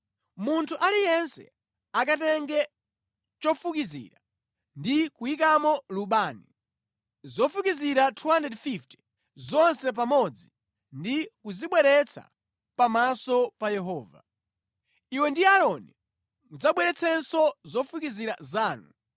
Munthu aliyense akatenge chofukizira ndi kuyikamo lubani, zofukizira 250 zonse pamodzi ndi kuzibweretsa pamaso pa Yehova. Iwe ndi Aaroni mudzabweretsenso zofukizira zanu.”